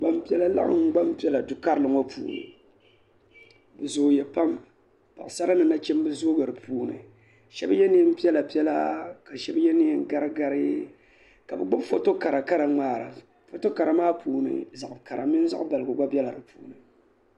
Gbampiɛla laɣim gbampiɛla du karili ŋɔ puuni bɛ. zooya pam paɣsara ni nachimbi zooya bɛ puuni shɛbi yɛ neen piɛla piɛla ka shɛbi yɛ neen gari gari ka bɛ gbubi foto kara kara ŋmaara foto kara maa puuni zaɣ kara mini zaɣ baligu gba bɛla di puuni